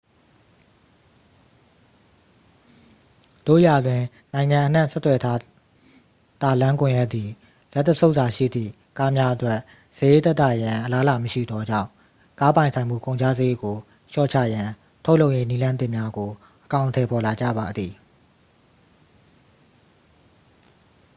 သို့ရာတွင် နိုင်ငံအနှံ့ဆက်သွယ်ထားသာလမ်းကွန်ရက်သည် လက်တစ်ဆုပ်သာရှိသည့် ကားများအတွက် စရိတ်သက်သာရန်အလားအလာမရှိသောကြောင့် ကားပိုင်ဆိုင်မှုကုန်ကျစရိတ်ကိုလျှော့ချရန် ထုတ်လုပ်ရေးနည်းလမ်းသစ်များကို အကောင်အထည်ဖော်လာကြပါသည်